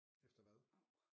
Efter hvad